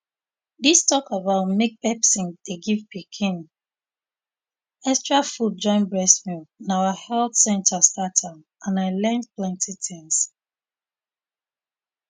this talk about make person dey give pikin um extra food join breast milk na our health centre start am and i learn plenty things